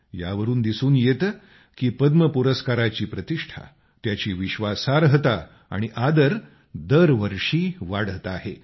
यावरून दिसून येते की पद्म पुरस्काराची प्रतिष्ठा त्याची विश्वासार्हता आणि आदर दरवर्षी वाढत आहे